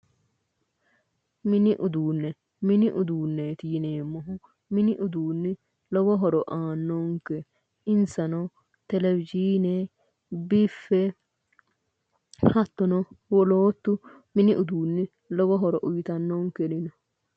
Mini uduune, mini uduuneti yineemmohu ,mini uduuni lowo horo aanonke insano Televisione ,biffe ,wolootu lowo horo uyittanonkeri no